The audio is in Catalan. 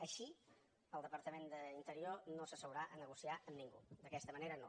així el departament d’interior no s’asseurà a negociar amb ningú d’aquesta manera no